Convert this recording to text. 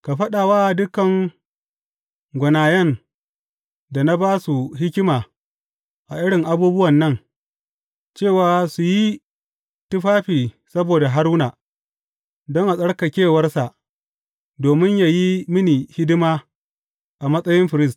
Ka faɗa wa dukan gwanayen da na ba su hikima a irin abubuwan nan, cewa su yi tufafi saboda Haruna, don a tsarkakewarsa, domin yă yi mini hidima a matsayin firist.